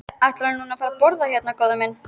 Ætlarðu nú að fara að borða hérna, góði minn?